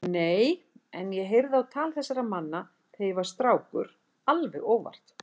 Nei, en ég heyrði á tal þessara manna þegar ég var strákur alveg óvart.